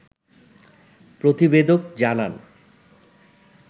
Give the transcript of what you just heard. প্রতিবেদক জানান